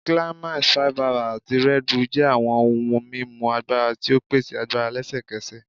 Climax, 5hours, ati Red Bull jẹ awọn ohun mimu agbara ti o pese agbara lẹsẹkẹsẹ